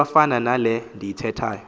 ikwafana nale ndiyithethayo